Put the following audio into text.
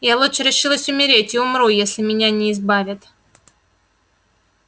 я лучше решилась умереть и умру если меня не избавят